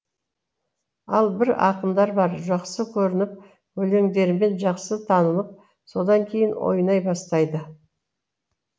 ал бір ақындар бар жақсы көрініп өлеңдерімен жақсы танылып содан кейін ойнай бастайды